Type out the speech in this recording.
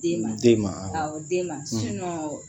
Den ma den ma aw den ma sinɔ